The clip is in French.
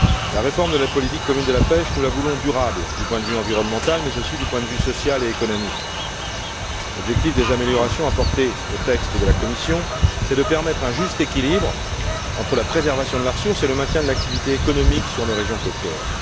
La réforme de la politique commune de la pêche, nous la voulons durable du point de vue environnemental, mais aussi du point de vue social et économique. L'objectif des améliorations apportées au texte de la commission, c'est de permettre un juste équilibre entre la préservation de la ressource et le maintien de l'activité économique sur nos régions côtières.